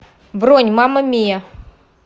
бронь мама миа